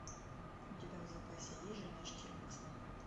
у тебя в запасе есть жена штирлица